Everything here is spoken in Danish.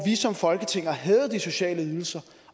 som folketing har hævet de sociale ydelser